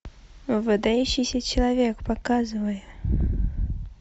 выдающийся человек показывай